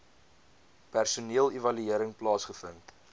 personeel evaluering plaasgevind